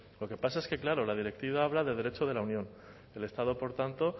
lo que pasa es que claro la directiva habla de derecho de la unión el estado por tanto